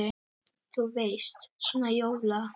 Þú veist. svona jóla.